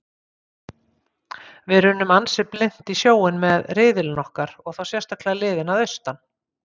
Við runnum ansi blint í sjóinn með riðillinn okkar og þá sérstaklega liðin að austan.